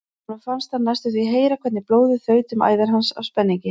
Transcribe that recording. Honum fannst hann næstum því heyra hvernig blóðið þaut um æðar hans af spenningi.